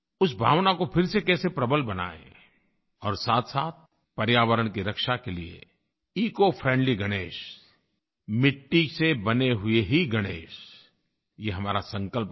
उस भावना को फिर से कैसे प्रबल बनाएं और साथसाथ पर्यावरण की रक्षा के लिए इकोफ्रेंडली गणेश मिट्टी से बने हुए ही गणेश ये हमारा संकल्प रहे